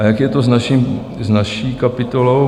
A jak je to s naší kapitolou?